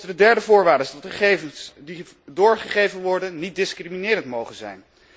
De derde voorwaarde is dat gegevens die doorgegeven worden niet discriminerend mogen zijn.